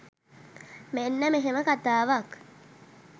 මෙන්න මෙහෙම කතාවක්.